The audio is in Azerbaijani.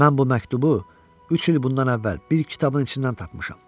Mən bu məktubu üç il bundan əvvəl bir kitabın içindən tapmışam.